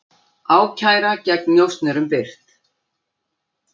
Ákæra gegn njósnurum birt